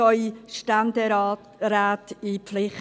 Nehmen Sie bitte Ihre Ständeräte in die Pflicht.